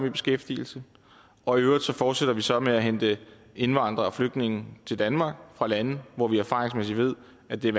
i beskæftigelse og i øvrigt fortsætter vi så med at hente indvandrere og flygtninge til danmark fra lande hvor vi erfaringsmæssigt ved at det er